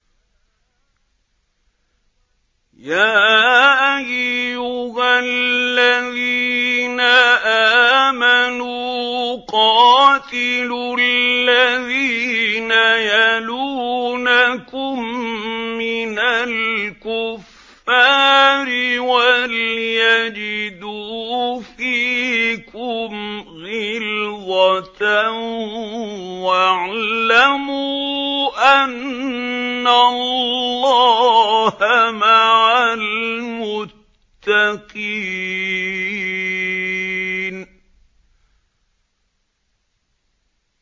يَا أَيُّهَا الَّذِينَ آمَنُوا قَاتِلُوا الَّذِينَ يَلُونَكُم مِّنَ الْكُفَّارِ وَلْيَجِدُوا فِيكُمْ غِلْظَةً ۚ وَاعْلَمُوا أَنَّ اللَّهَ مَعَ الْمُتَّقِينَ